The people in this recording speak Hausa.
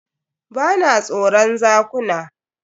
Ba na tsoron zakuna.